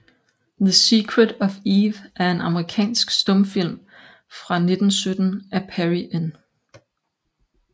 The Secret of Eve er en amerikansk stumfilm fra 1917 af Perry N